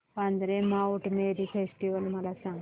Vandre Mount Mary festival मला सांग